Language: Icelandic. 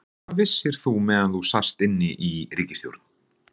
Hvað vissir þú meðan þú sast inni í ríkisstjórn?